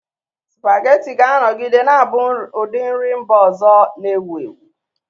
Spaghetti ga-anọgide na-abụ ụdị nri mba ọzọ na-ewu ewu.